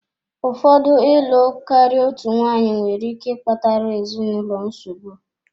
Ụfọdụ ịlụ karịa otu nwanyị nwere ike ịkpatara ezinụlọ nsogbu.